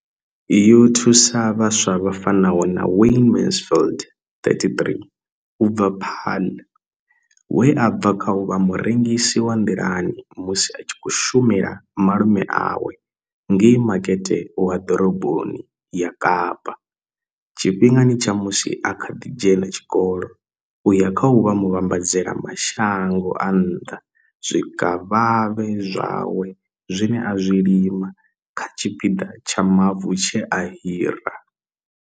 Yo thusa vhaswa vha fanaho na Wayne Mansfield 33 u bva Paarl, we a bva kha u vha murengisi wa nḓilani musi a tshi khou shumela malume awe ngei makete wa ḓoroboni ya Kapa tshifhingani tsha musi a kha ḓi dzhena tshikolo u ya kha u vha muvhambadzela mashango a nnḓa zwikavhavhe zwawe zwine a zwi lima kha tshipiḓa tsha mavu tshe a hira.